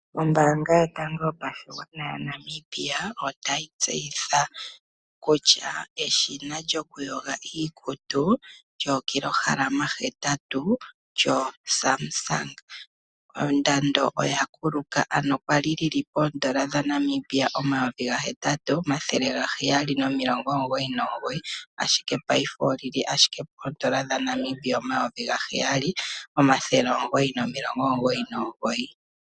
Ombaanga yotango yopashigwana yaNamibia ota yi tseyitha kutya eshina lyokuyoga iikutu lyookilohalama hetatu lyo Samsung ondando oya kuluka. Ano kwali li li poondola dha Namibia omayovi gahetatu omathele gaheyali nomilongo omugoyi nomugoyi, ashike paife oli li ashike poondola dha Namibia omayovi gaheyali omathele omugoyi nomilongo omugoyi nomugoyi.